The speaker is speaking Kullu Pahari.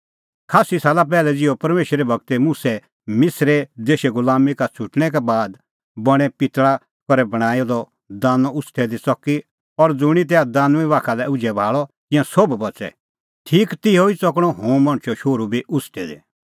खास्सी साला पैहलै ज़िहअ परमेशरे गूर मुसा मिसर देशे गुलामीं का छ़ुटणैं बाद बणैं पितल़ा करै बणांईं दी दानअ उछ़टै दी च़की और ज़ुंणी तैहा दानुईं बाखा लै उझै भाल़अ तिंयां सोभ बच़ै ठीक तिहअ ई च़कणअ हुंह मणछो शोहरू बी उछ़टै दी